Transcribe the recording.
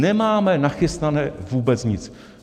Nemáme nachystané vůbec nic.